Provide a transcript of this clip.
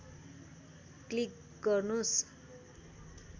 click गर्नुस्